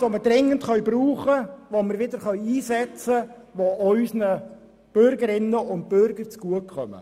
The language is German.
Es ist Geld, das wir wieder brauchen, wieder einsetzen können, sodass es auch unseren Bürgerinnen und Bürgern zugutekommt.